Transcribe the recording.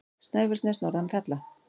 Snæfellsnes norðan fjalla.